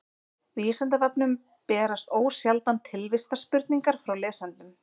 vísindavefnum berast ósjaldan tilvistarspurningar frá lesendum